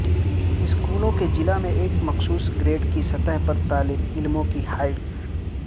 school کے ضلع میں ایک مخصوص گریڈ کی سطح پر طالب علموں کی ہائٹس